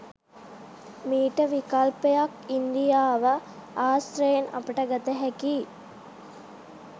මීට විකල්පයක් ඉන්දියාව ආශ්‍රයෙන් අපට ගත හැකියි.